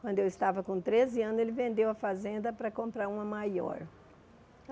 Quando eu estava com treze anos, ele vendeu a fazenda para comprar uma maior.